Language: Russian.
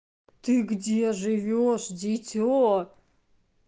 ты где живёшь дите